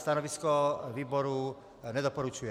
Stanovisko výboru - nedoporučuje.